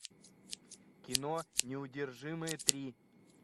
кино неудержимые три